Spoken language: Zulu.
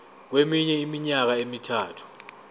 kweminye iminyaka emithathu